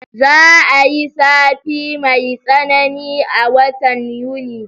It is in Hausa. Za'a yi zafi mai tsanani a watan Yuni